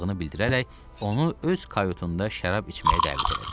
bildirərək onu öz kayotunda şərab içməyə dəvət elədi.